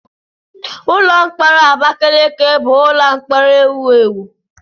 Ụlọ mkpọrọ Abakaliki bụ ụlọ mkpọrọ ewu ewu.